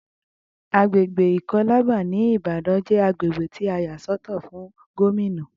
Agbègbè ikọ́làbà ní ìbàdàn jé agbègbè tí a yà sọ́tọ̀ fún Gómìnà